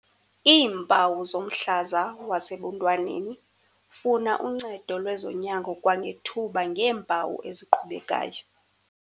Iimpawu zomhlaza wasebuntwaneni. Funa uncedo lwezonyango kwangethuba ngeempawu eziqhubekayo.